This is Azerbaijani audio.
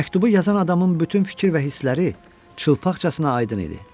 Məktubu yazan adamın bütün fikir və hissləri çılnıx bağçasına aydın idi.